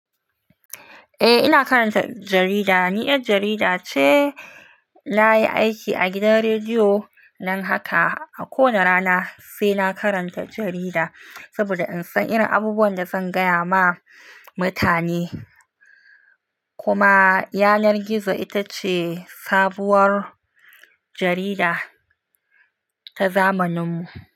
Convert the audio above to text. Eh, ina karanta jarida. Ni yar jarida ce. Na yi aiki a gidan rediyo, nan haka a kowane rana sai na karanta jarida saboda in san irin abubuwan da zan gaya ma mutane. Kuma Yanar-gizo ita ce sabuwar jarida ta zamaninmu.